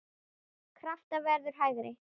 Krafan verður hærri.